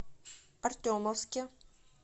артемовске